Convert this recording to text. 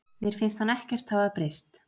Mér finnst hann ekkert hafa breyst.